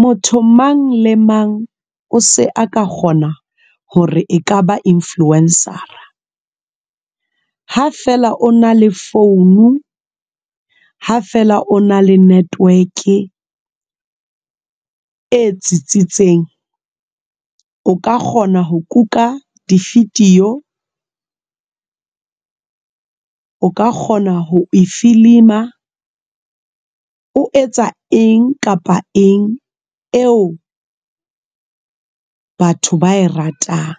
Motho mang le mang o se a ka kgona hore e ka ba influencer-a ha fela o na le founu ha fela o na le network e tsitsitseng. O ka kgona ho kuka di-video o ka kgona ho e filima, o etsa eng kapa eng eo batho ba e ratang,